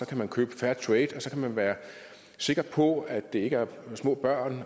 kan man købe fairtrade og så kan man være sikker på at det ikke er små børn